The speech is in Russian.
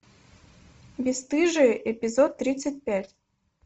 бесстыжие эпизод тридцать пять